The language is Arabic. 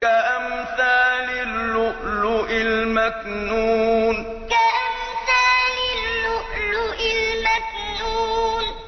كَأَمْثَالِ اللُّؤْلُؤِ الْمَكْنُونِ كَأَمْثَالِ اللُّؤْلُؤِ الْمَكْنُونِ